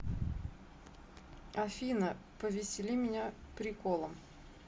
афина повесели меня приколом